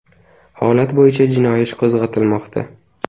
Holat bo‘yicha jinoiy ish qo‘zg‘atilmoqda.